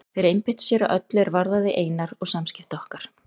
Þeir einbeittu sér að öllu er varðaði Einar og samskipti okkar.